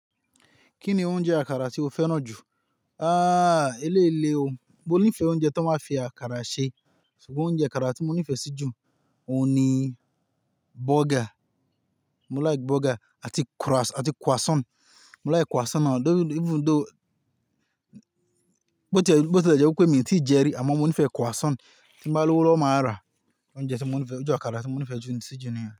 Kí ni oúnjẹ àkàrà tí o fẹ́ràn jù? Ah, eléyìí le o, mo nífẹ̀ẹ́ oúnjẹ tí wọ́n bá fi àkàrà ṣe. Ṣùgbọ́n oúnjẹ àkàrà tí mo nífẹ̀ẹ́ sí jù, òun ni burger. Mo like burger àti croissant. Mo like croissant even though, bí ó ti jẹ́ pé mí ò tí ì jẹ rí, àmọ́ mo nífẹ̀ẹ́ croissant. Tín bá lọ́wọ́ máa ra oúnjẹ tí mo nífẹ̀ẹ́, oúnjẹ àkàrà tí mo nífẹ̀ẹ́ sí jù níyẹn.